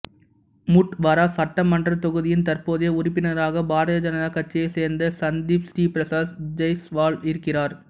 முட்வாரா சட்டமன்றத் தொகுதியின் தற்போதைய உறுப்பினராக பாரதிய ஜனதா கட்சியைச் சேர்ந்த சந்தீப் ஸ்ரீபிரசாத் ஜெய்ஸ்வால் இருக்கிறார்